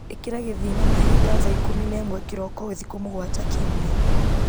ĩkĩra gĩthima-mahinda thaa ikũmi na ĩmwe kĩroko thikũ mũgwanja kiumia